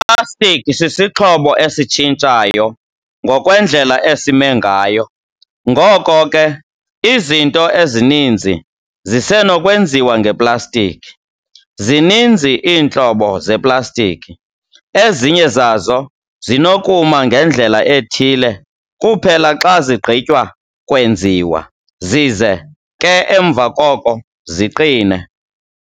Iplastiki sisixhobo esitshintshayo ngokwendlela esime ngayo, ngoko ke izinto ezininzi zisenokwenziwa ngeplastiki. Zininzi iintlobo zeplastiki. Ezinye zazo zinokuma ngendlela ethile kuphela xa zigqitywa kwenziwa, zize ke emva koko ziqine.